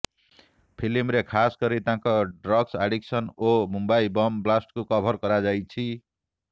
ଫିଲ୍ମରେ ଖାସ୍ କରି ତାଙ୍କ ଡ୍ରଗ୍ସ ଆଡିକ୍ସନ ଓ ମୁମ୍ବାଇ ବମ୍ ବ୍ଲାଷ୍ଟକୁ କଭର କରାଯାଇଛି